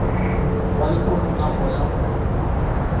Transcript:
wa lehono ka moya o